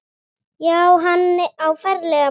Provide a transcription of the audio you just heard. Já, hann á ferlega bágt.